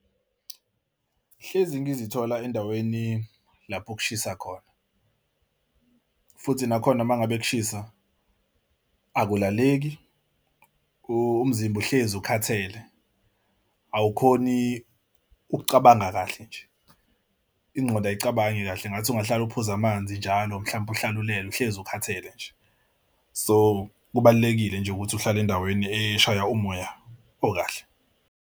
Hlezi ngizithola endaweni lapho kushisa khona futhi nakhona uma ngabe kushisa, akulaleki umzimba uhlezi ukhathele. Awukhoni ukucabanga kahle nje ingqondo ayicabange kahle ngathi ungahlala uphuze amanzi, njalo mhlawumbe uhlalele uhlezi ukhathele nje. So kubalulekile nje ukuthi uhlale endaweni eshaya umoya okahle.